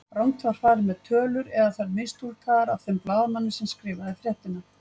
Rangt var farið með tölur eða þær mistúlkaðar af þeim blaðamanni sem skrifaði fréttina.